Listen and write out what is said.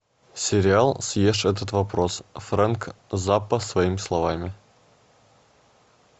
сериал съешь этот вопрос фрэнк заппа своими словами